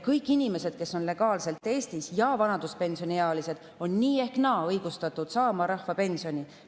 Kõik inimesed, kes on legaalselt Eestis ja vanaduspensioniealised, on nii ehk naa õigustatud saama rahvapensioni.